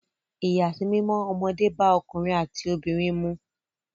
Ìyàsímímọ́ ọmọdé bá ọkùnrin àti obìnrin mu.